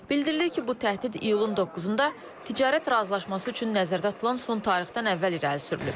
Bildirilir ki, bu təhdid iyulun 9-da ticarət razılaşması üçün nəzərdə tutulan son tarixdən əvvəl irəli sürülüb.